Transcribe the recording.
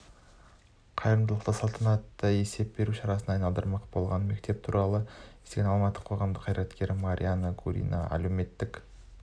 қайырымдылықты салтанатты есеп беру шарасына айналдырмақ болған мектеп туралы естіген алматылық қоғамдық қайраткер мариана гурина әлеуметтік